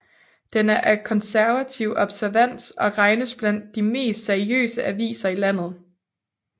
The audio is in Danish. Den er af konservativ observans og regnes blandt de mest seriøse aviser i landet